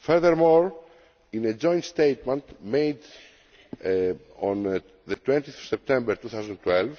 Furthermore, in a joint statement of 20 September 2012,